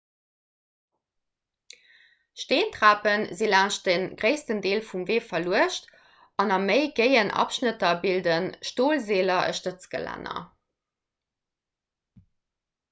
steentrape si laanscht dem gréissten deel vum wee verluecht an a méi géien abschnitter bilde stolseeler e stëtzgelänner